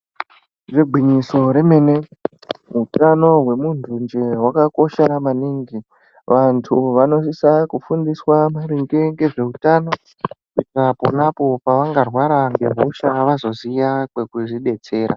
Ngegwinyiso remene utano wemuntu njee hwakakosha maningi. Vantu vanosisa kufundiswa maringe ngezveutano kuitira ponapo paangarwara ngehosha vazoziya kwekuzvi detsera.